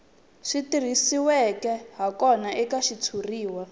swi tirhisiweke hakona eka xitshuriwa